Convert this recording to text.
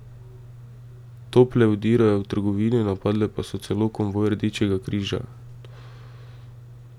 Tople vdirajo v trgovine, napadle pa so celo konvoj Rdečega križa.